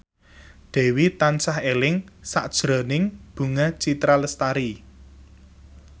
Dewi tansah eling sakjroning Bunga Citra Lestari